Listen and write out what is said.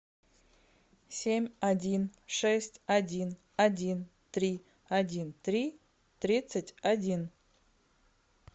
семь один шесть один один три один три тридцать один